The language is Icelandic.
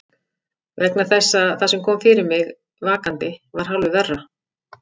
Vegna þess að það sem kom fyrir mig vakandi var hálfu verra.